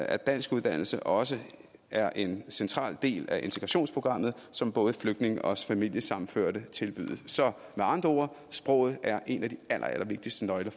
at danskuddannelse også er en central del af integrationsprogrammet som både flygtninge og familiesammenførte tilbydes så med andre ord sproget er en af de allerallervigtigste nøgler